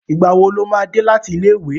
Ìgbà wo lo máa dé láti ilé ìwé?